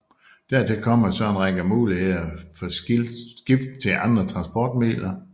Dertil kommer så en række muligheder for skift til andre transportmidler